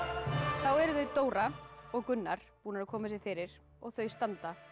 þá eru þau Dóra og Gunnar búin að koma sér fyrir og þau standa